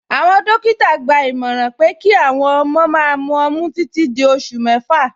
Awọn dòkítà gbà ìmọ̀ràn pé kí awọn ọmọ má mú òmì títì dí ọṣù mẹ́fà.